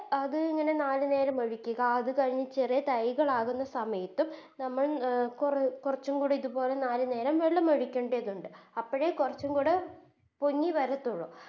അത് ഇങ്ങനെ നാല് നേരം ഒഴിക്ക് ക അത് കഴിഞ്ഞ് ചെറിയ തൈകൾ ആകുന്ന സമയത്തും നമ്മൾ അഹ് കൊറച്ചും കൂടെ ഇതുപോലെ നാല് നേരം വെള്ളമൊഴിക്കേണ്ടതുണ്ട് അപ്പഴേ കൊറച്ചും കൂട പൊങ്ങി വരത്തൊള്ളൂ